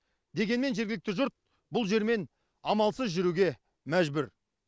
дегенмен жергілікті жұрт бұл жермен амалсыз жүруге мәжбүр